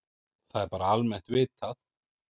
Það er bara almennt vitað.